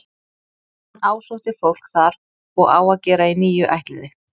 Hann ásótti fólk þar og á að gera í níu ættliði.